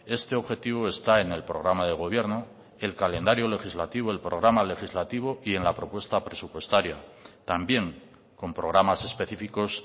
este objetivo está en el programa de gobierno el calendario legislativo el programa legislativo y en la propuesta presupuestaria también con programas específicos